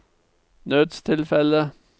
nødstilfelle